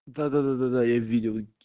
да да я видел